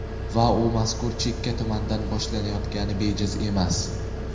Va u mazkur chekka tumandan boshlanayotgani bejiz emas.